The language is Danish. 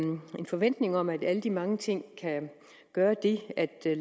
forventning om at alle de mange ting kan gøre det at at